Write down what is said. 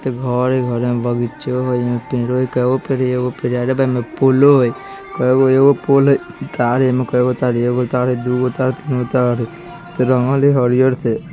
ब भ घर हई। घर में बगीचों हई अइमे पेड़ों हई कइगो पेड़ हई? एगो पेड़ हई आरए वा अइमे पोलो हई कईगो पोल हई एगो पोल हई । तारो हई कईगो तार है एगो तार हई दुगो तार हई तीन गो तार हई। ई त रंगल हई हरिहर से